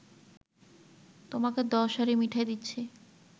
তোমাকে দশ হাঁড়ি মিঠাই দিচ্ছি